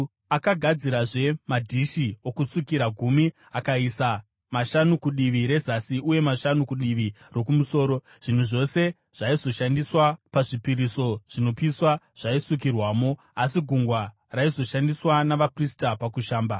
Akagadzirazve madhishi okusukira gumi akaisa mashanu kudivi rezasi, uye mashanu kudivi rokumusoro. Zvinhu zvose zvaizoshandiswa pazvipiriso zvinopiswa zvaisukirwamo, asi Gungwa raizoshandiswa navaprista pakushamba.